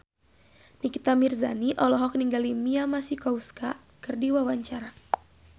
Nikita Mirzani olohok ningali Mia Masikowska keur diwawancara